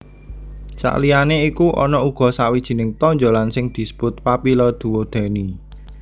Saliyané iku ana uga sawijining tonjolan sing disebut papilla duodeni